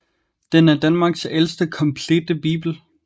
Den er Danmarks ældste komplette bibel